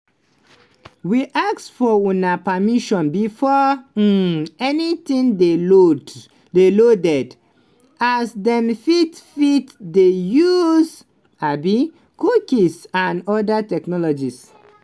we ask for una permission before um anytin dey loaded as dem fit fit dey use um cookies and oda technologies.